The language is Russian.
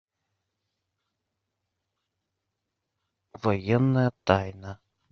военная тайна